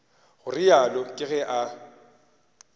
go realo ke ge a